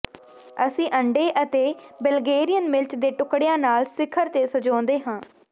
ਅਸੀਂ ਅੰਡੇ ਅਤੇ ਬਲਗੇਰੀਅਨ ਮਿਰਚ ਦੇ ਟੁਕੜਿਆਂ ਨਾਲ ਸਿਖਰ ਤੇ ਸਜਾਉਂਦੇ ਹਾਂ